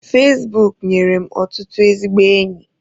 Fezbuk nyere m ọtụtụ ezigbo enyi.